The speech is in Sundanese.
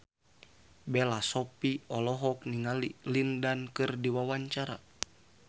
Bella Shofie olohok ningali Lin Dan keur diwawancara